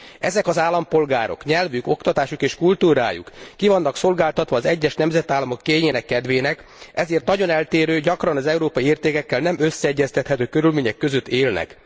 Ezek az állampolgárok nyelvük, oktatásuk és kultúrájuk ki vannak szolgáltatva az egyes nemzetállamok kényének kedvének, ezért nagyon eltérő, gyakran az európai értékekkel nem összeegyeztethető körülmények között élnek.